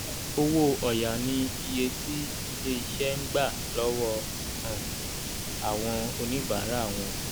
owó ọ̀ya ni iye tí ilé iṣẹ́ ń gbà lọ́wọ́ um àwọn oníbàárà wọn